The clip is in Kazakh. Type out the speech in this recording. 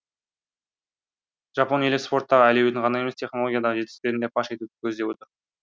жапон елі спорттағы әлеуетін ғана емес технологиядағы жетістіктерін де паш етуді көздеп отыр